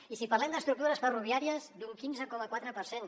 i si parlem d’estructures ferroviàries d’un quinze coma quatre per cent